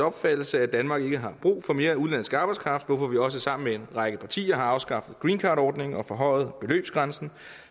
opfattelse at danmark ikke har brug for mere udenlandsk arbejdskraft hvorfor vi også sammen med en række partier har afskaffet greencardordningen og forhøjet beløbsgrænsen